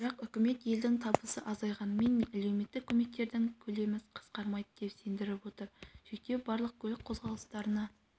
бірақ үкімет елдің табысы азайғанымен әлеуметтік көмектердің көлемі қысқармайды деп сендіріп отыр шектеу барлық көлік қозғалыстарына